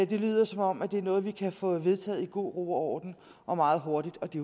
det lyder som om det er noget vi kan få vedtaget i god ro og orden og meget hurtigt og det